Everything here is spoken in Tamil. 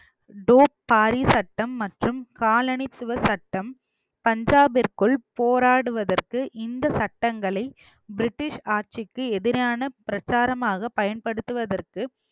டோக் பாரி சட்டம் மற்றும் காலனி சுவ சட்டம் பஞ்சாபிற்குள் போராடுவதற்கு இந்த சட்டங்களை பிரிட்டிஷ் ஆட்சிக்கு எதிரான பிரச்சாரமாக பயன்படுத்துவதற்கு